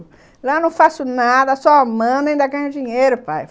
Lá eu não faço nada, só mando e ainda ganho dinheiro, pai.